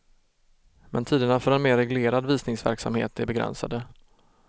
Men tiderna för en mer reglerad visningsverksamhet är begränsade.